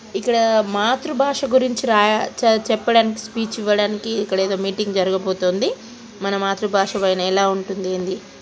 ఇక్కడ మాతృబాష గురించి రాయ చే చెప్ప చెప్పడానికి స్పీచ్ ఇవ్వడానికి ఇక్కడ ఏదో మీటింగ్ జరగబోతుంది. మన మాతృబాష పైన ఎలా వుంటుంది ఏందీ --